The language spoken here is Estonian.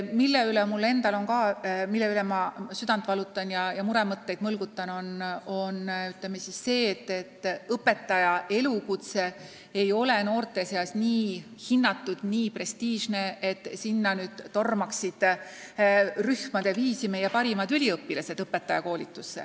Mille pärast ma väga südant valutan ja muremõtteid mõlgutan, on see, et õpetaja elukutse ei ole noorte seas nii hinnatud, nii prestiižne, et õpetajakoolitusse tormaksid rühmade viisi meie parimad üliõpilased.